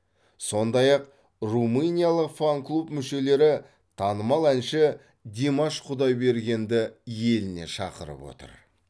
сондай ақ румыниялық фан клуб мүшелері танымал әнші димаш құдайбергенді еліне шақырып отыр